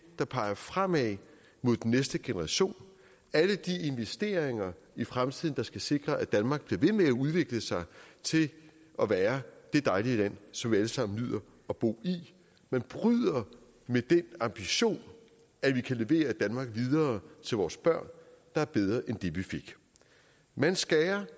der peger fremad mod den næste generation alle de investeringer i fremtiden der skal sikre at danmark bliver ved med at udvikle sig og være det dejlige land som vi alle sammen nyder at bo i man bryder med den ambition at vi kan levere et danmark videre til vores børn der er bedre end det vi fik man skærer